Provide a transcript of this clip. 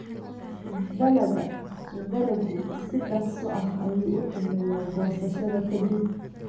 Dalagga dalaggu si dhakhso ah ayuu u xumeeyaa goosashada ka dib.